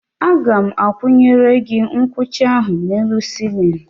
Aga m akwụnyere gị nkucha ahụ n'elu sịlịnụ.